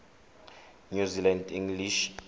new zealand english